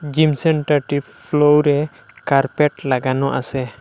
Gym সেন্টারটির ফ্লোরে carpet লাগানো আছে।